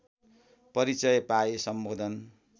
परिचय पाए सम्बोधन